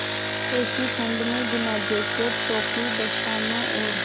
ऐसी ठण्ड में बिना जेकेट टोपी दस्तानों और